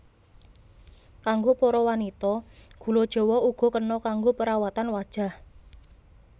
Kanggo para wanita gula jawa uga kena kanggo perawatan wajah